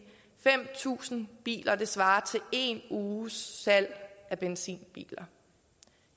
fem tusind biler svarer til en uges salg af benzinbiler